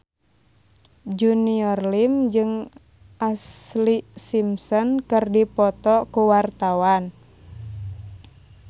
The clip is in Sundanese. Junior Liem jeung Ashlee Simpson keur dipoto ku wartawan